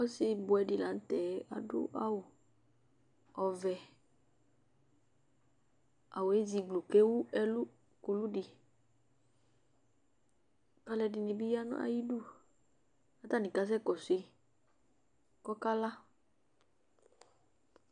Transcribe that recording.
ɔsi buɛdɩ lanʊtɛ adʊ awu ɔvɛ zigbluu kʊ ewu ɛlʊ ukuludɩ kʊ alʊ kɔ nʊ ayidu kʊ akakɔsu yi ta ɔkala,